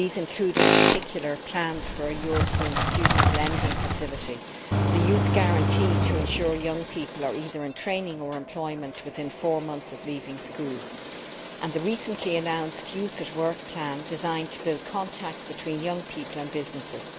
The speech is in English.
These include, in particular, plans for a European student lending facility, the European Youth Guarantee, to ensure that young people are in either training or employment within four months of leaving school, and the recently announced Youth at Work plan, designed to build contacts between young people and businesses.